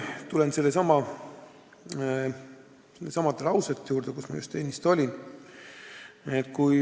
" Tulen jälle sellesama lause juurde, mis ma ennist ütlesin.